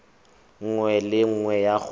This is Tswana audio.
nngwe le nngwe ya go